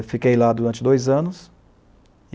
E fiquei lá durante dois anos.